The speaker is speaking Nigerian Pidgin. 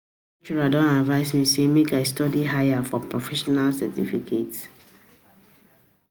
my lecturer don advice me say make I study higher for professional certificate